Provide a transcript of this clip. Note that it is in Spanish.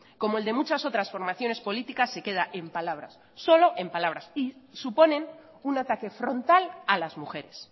como el de muchas otras formaciones políticas se queda en palabras solo en palabras y suponen un ataque frontal a las mujeres